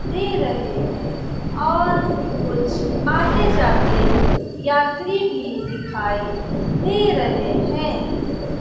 दे रहे हैं और कुछ आते जाते यात्री भी दिखाई दे रहे हैं।